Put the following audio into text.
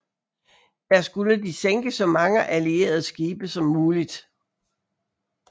Der skulle de sænke så mange allierede skibe som muligt